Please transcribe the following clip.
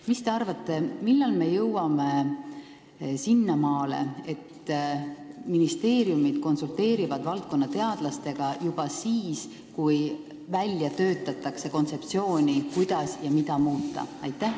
Mis te arvate, millal me jõuame sinnamaale, et ministeeriumid konsulteerivad valdkonna teadlastega juba siis, kui välja töötatakse kontseptsiooni, kuidas ja mida muuta?